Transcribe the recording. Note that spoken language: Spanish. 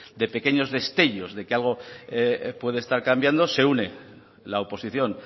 de pequeños destellos de que algo puede estar cambiando se une la oposición